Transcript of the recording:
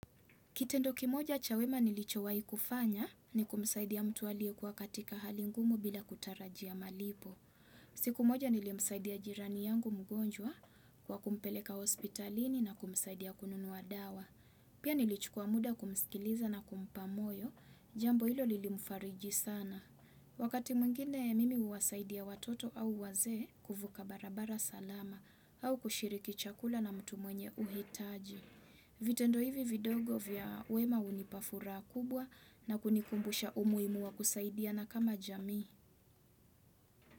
Kitendo kimoja cha wema nilicho wai kufanya ni kumsaidia mtu alie kuwa katika hali ngumu bila kutarajia malipo. Siku moja nilimsaidia jirani yangu mgonjwa kwa kumpeleka hospitalini na kumsaidia kununua dawa. Pia nilichukua muda kumskiliza na kumpa moyo, jambo ilo lilimfariji sana. Wakati mwngine mimi huwasaidia watoto au wazee kufuka barabara salama, au kushiriki chakula na mtu mwenye uhitaji. Vitendo hivi vidogo vya uema unipafuraha kubwa na kunikumbusha umuhimu wa kusaidiana kama jamii.